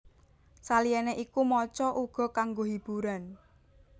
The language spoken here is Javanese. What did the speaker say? Saliyane iku maca uga kanggo hiburan